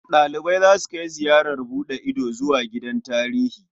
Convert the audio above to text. Ɗalibai za su kai ziyarar buɗe ido zuwa gidan tarihi.